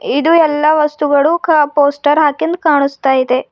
ಇದು ಎಲ್ಲ ವಸ್ತುಗಳು ಕಾ ಪೋಸ್ಟರ್ ಹಾಕಿಂದ್ ಕಾಣಿಸ್ತಾ ಇದೆ.